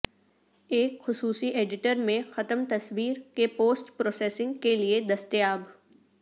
ایک خصوصی ایڈیٹر میں ختم تصویر کے پوسٹ پروسیسنگ کے لئے دستیاب